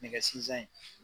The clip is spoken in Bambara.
Nɛgɛ sinzan ye.